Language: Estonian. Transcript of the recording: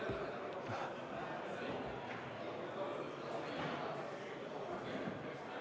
Istungi lõpp kell 10.48.